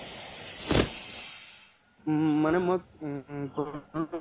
উম, মানে মই উম